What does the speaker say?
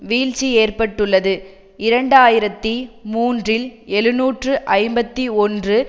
வீழ்ச்சி ஏற்பட்டுள்ளது இரண்டு ஆயிரத்தி மூன்றில் எழுநூற்று ஐம்பத்தி ஒன்று